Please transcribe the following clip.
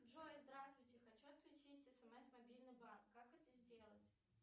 джой здравствуйте хочу отключить смс мобильный банк как это сделать